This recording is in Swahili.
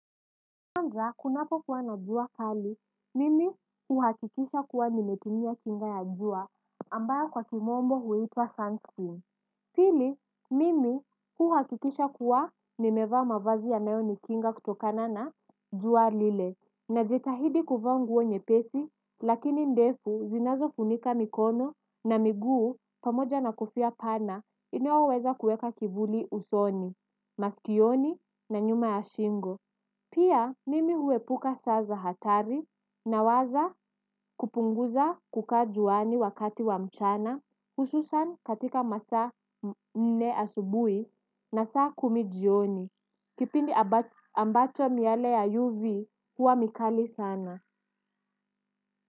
Kwanza, kunapo kuwa na jua kali, mimi huhakikisha kuwa nimetumia kinga ya jua, ambayo kwa kimombo huiitwa Sunscreen. Pili, mimi huhakikisha kuwa nimevaa mavazi yanayo nikinga kutokana na jua lile. Najitahidi kuvaa nguo nyepesi, lakini ndefu zinazofunika mikono na miguu pamoja na kofia pana inoyoweza kuweka kivuli usoni, masikioni na nyuma ya shingo. Pia mimi huepuka saa za hatari nawaza kupunguza kukaa juani wakati wa mchana hususan katika masa nne asubui na saa kumi jioni. Kipindi ambacho miyale ya UV hua mikali sana.